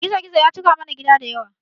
Gizo gizo ya cika mana gida da yana